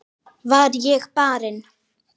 Var ég barinn?